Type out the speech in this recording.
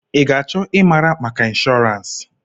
I ga-achọ ịmara maka inshọrans?